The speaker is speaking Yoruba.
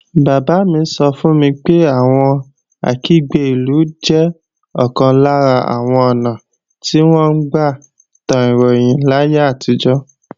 Bàbá mi sọ fún mi pé àwọn Akígbe-ìlú jẹ́ ọ̀kan lára àwọn ​​ọ̀nà tí wọ́n gbà tan ròyìn láyé àtijọ́